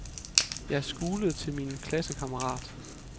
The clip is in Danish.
Jeg skulede til min klassekammerat.